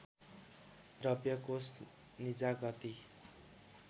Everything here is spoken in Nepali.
द्रव्य कोष निजादती